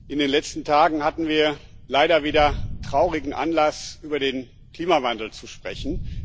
In den letzten Tagen hatten wir leider wieder traurigen Anlass, über den Klimawandel zu sprechen.